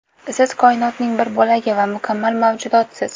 Siz koinotning bir bo‘lagi va mukammal mavjudotsiz.